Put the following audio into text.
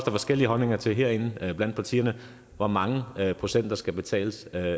er forskellige holdninger til herinde blandt partierne hvor mange procent der skal betales af